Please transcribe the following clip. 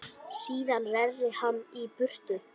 Síðan reri hann í burtu.